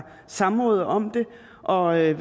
samråd om det og er